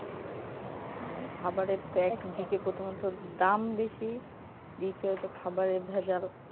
মানে খাবারের তো একদিকে প্রথমত দাম বেশি দ্বিতীয়ত খাবারে ভেজাল